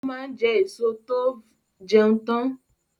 Ó máa ń jẹ́ èso tó ve jẹun tán